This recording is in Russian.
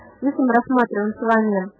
посмотрим